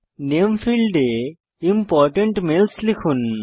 নামে ফীল্ডে important mails লিখুন